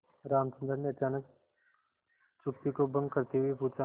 रामचंद्र ने अचानक चुप्पी को भंग करते हुए पूछा